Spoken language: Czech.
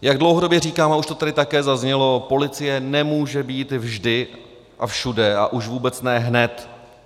Jak dlouhodobě říkám, a už to tady taky zaznělo, policie nemůže být vždy a všude, a už vůbec ne hned.